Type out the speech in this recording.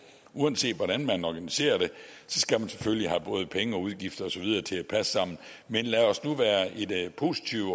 uanset hvordan man organiserer det skal man selvfølgelig have både penge og udgifter og så videre til at passe sammen man lad os nu være positive